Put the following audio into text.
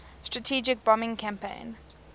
strategic bombing campaign